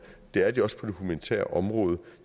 det er de også på det humanitære område